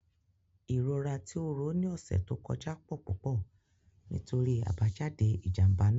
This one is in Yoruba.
Irora ti o ro ni ọsẹ to kọja pọ pupọ nitori abajade ijamba naa.